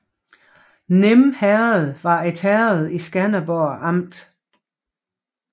Nim Herred var et herred i Skanderborg Amt